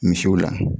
Misiw la